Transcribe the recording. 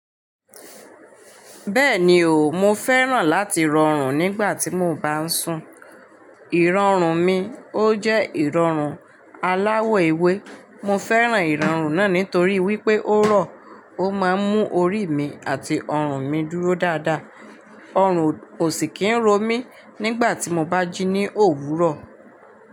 Bẹ́ẹ̀ni o, mo fẹ́ràn láti rọrùn nígbà tí mo bá ń sùn. Ìrọ̀rùn mi ó jẹ́ ìrọ̀rùn aláwọ̀ ewé. Mo fẹ́ràn ìrọ̀rùn náà nítorí wípé ó rọ̀, ó máa ń mú orí mi àti ọrùn mi dúró dáadáa. Ọrùn ò sì kín ro mí nígbà tí mo bá jí ní òwúrọ̀